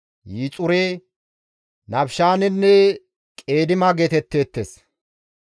Yixure, Nafishaanenne Qeedima geetetteettes.